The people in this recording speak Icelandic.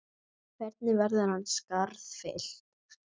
Hvernig verður hans skarð fyllt?